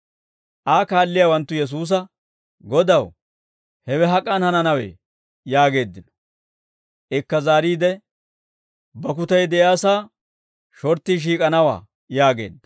Aa kaalliyaawanttu Yesuusa, «Godaw, hewe hak'an hananawee?» yaageeddino. Ikka zaariide, «Bakkutay de'iyaasaa shorttii shiik'anawaa» yaageedda.